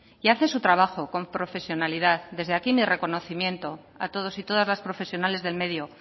y hace su trabajo profesionalidad desde aquí mi reconocimiento a todos y todas las profesionales del medio